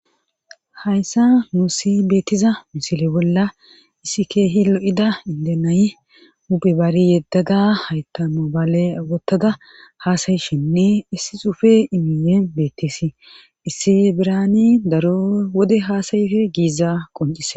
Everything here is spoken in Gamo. hayssa nu si beettiza misile bolla issi keehi lo7ida indenaye upe bari yeddaga haytamo bale wottada haasayishinne issi xufe imiye beetteesi issi birani daro wode haasayife giiza qoncise